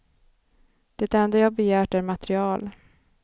Det enda jag begärt är material.